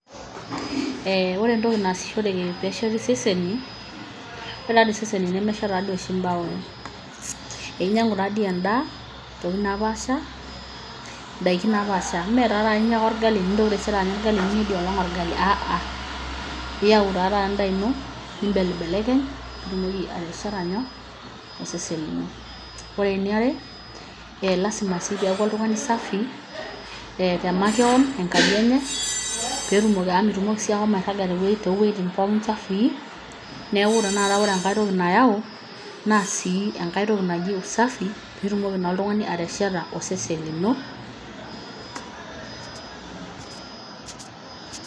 Ee ore entoki naasishoreki pee esheti iseseni, ore tadoi iseseni nemeshet tadoi imbaoi, inyiangu tadoi endaa indaiki naapasha metatoi inya taata orgali nintoki taisere anya orgali aa ahh inyiangu tadoi endaa ino nimbellilekelekeny pee itumoki atesheta nyoo osesen lino. Ore eniare lazima sii piaku oltungani safi te makewon enkaji enye amu mitumoki sii ashomo airaga too wojitin chafui, neeku ore tanakata enkae toki nayau naa sii enkae toki naji usafi pee itumoki naa oltungani atesheta osesen lino.